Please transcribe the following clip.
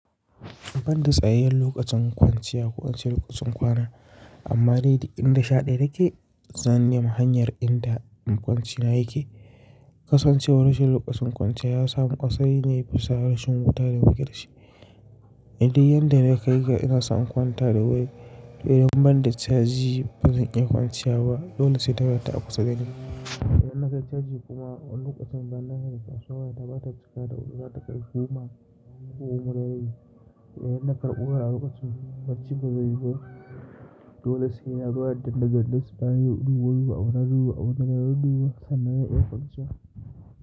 Ban da tsayayen lokacin kwanciya ko in ce lokacin kwana, amma dai duk in sha ɗaya ta ke, zan nema hanyar inda ma kwanci na yake. Kasancewar rashin lokacin kwanciya ya samu kasai na yi fasa rashin wuta da muke da shi. Idan yadda nake yi ga ina so in kwanta da wuri, to in ban da caji ba zan iya kwanciya ba, dole sai da wayata a kusa da ni. Idan na kai caji kuma lokacin da na hanyar kasuwa ya taɓa tafiya da wuri, za ta kai goma ko kuma rabi To idan na karɓi wura a lokacin, barci ba zai yiwu ba. Dole sai na zo na dane dane baya na duba, abunda zan dudduba, abun da duba sannan zan iya kwanciya.